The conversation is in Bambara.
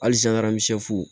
Halisa